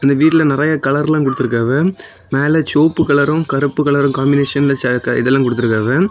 இந்த வீட்ல நெறய கலர் எல்லா குடுத்துருக்காவ மேல செவப்பு கலரும் கருப்பு கலரும் காம்பினேஷன்ல செ எ இதெல்லா குடுத்திருக்காவ.